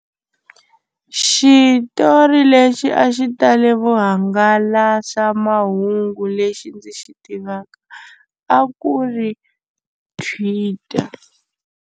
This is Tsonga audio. Xitori lexi a xi tale vuhangalasamahungu lexi ndzi xi tivaka a ku ri Twitter.